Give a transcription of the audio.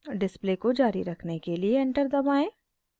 display को जारी रखने के लिए एंटर दबाएं